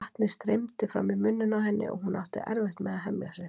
Vatnið streymdi fram í munninn á henni og hún átti erfitt með að hemja sig.